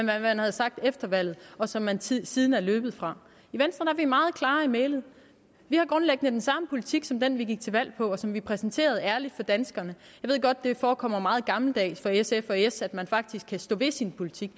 hvad man har sagt efter valget og som man siden siden er løbet fra i venstre er vi meget klare i mælet vi har grundlæggende den samme politik som den vi gik til valg på og som vi præsenterede ærligt for danskerne ved godt at det forekommer meget gammeldags for sf og s at man faktisk kan stå ved sin politik